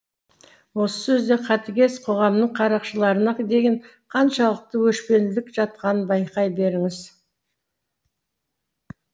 осы сөзде қатыгез қоғамның қарақшыларына деген қаншалықты өшпенділік жатқанын байқай беріңіз